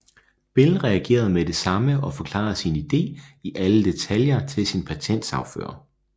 Bell reagerede med det samme og forklarede sin idé i alle detaljer til sin patentsagfører